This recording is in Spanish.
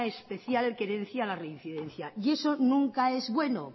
especial querencia a la reincidencia y eso nunca es bueno